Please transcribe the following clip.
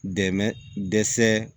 Dɛmɛ dɛsɛ